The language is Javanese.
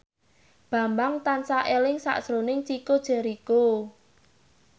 Bambang tansah eling sakjroning Chico Jericho